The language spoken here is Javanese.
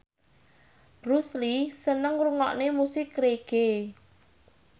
Bruce Lee seneng ngrungokne musik reggae